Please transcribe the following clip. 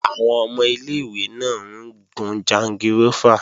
Àwọn ọmọ ilé-ìwé náà ń gun jangirófà